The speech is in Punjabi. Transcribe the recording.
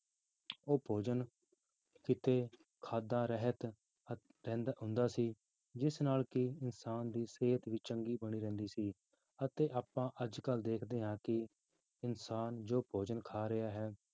ਉਹ ਭੋਜਨ ਕਿਤੇ ਖਾਧਾ ਰਹਿ ਜਾ ~ ਅਹ ਰਹਿੰਦਾ ਹੁੰਦਾ ਸੀ ਜਿਸ ਨਾਲ ਕਿ ਇਨਸਾਨ ਦੀ ਸਿਹਤ ਵੀ ਚੰਗੀ ਬਣੀ ਰਹਿੰਦੀ ਸੀ ਅਤੇ ਆਪਾਂ ਅੱਜ ਕੱਲ੍ਹ ਦੇਖਦੇ ਹਾਂ ਕਿ ਇਨਸਾਨ ਜੋ ਭੋਜਨ ਖਾ ਰਿਹਾ ਹੈ